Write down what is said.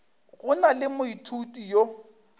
go na le moithuti yo